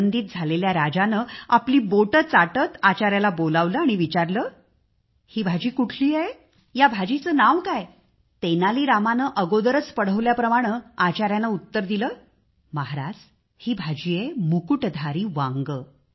आनंदित झालेल्या राजाने आपली बोटे चाटत आचाऱ्याला बोलावले आणि विचारले की ही भाजी कुठली आहे या भाजीचे नाव काय पढवल्याप्रमाणे आचाऱ्याने उत्तर दिले महाराज ही भाजी आहे मुकुटधर वांगे